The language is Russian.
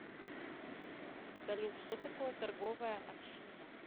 салют что такое торговая община